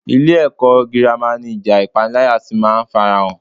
Ilé-ẹ̀kọ́ gírámà ni ìjà ipanilaya ti máa ń farahàn.